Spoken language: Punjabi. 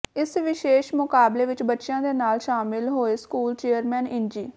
ਇਸ ਵਿਸ਼ੇਸ਼ ਮੁਕਾਬਲੇ ਵਿੱਚ ਬੱਚਿਆ ਦੇ ਨਾਲ ਸ਼ਾਮਲ ਹੋਏ ਸਕੂਲ ਚੇਅਰਮੈਨ ਇੰਜੀ